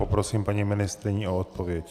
Poprosím paní ministryni o odpověď.